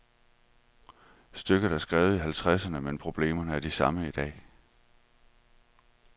Stykket er skrevet i halvtredserne, men problemerne er de samme i dag.